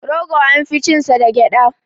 Rogo an fi cin sa da gyaɗa.